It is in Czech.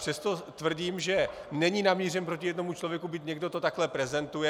Přesto tvrdím, že není namířen proti jednomu člověku, byť někdo to takhle prezentuje.